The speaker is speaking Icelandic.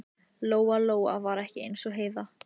Lóa Lóa var ekki eins og Heiða